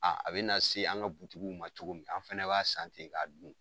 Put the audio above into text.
A a be na se an ka ma cogo min, an fɛnɛ b'a san ten ka dun.